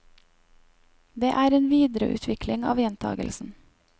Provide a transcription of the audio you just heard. Det er en videreutvikling av gjentagelsen.